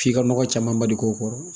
F'i ka nɔgɔ caman bali k'o kɔrɔ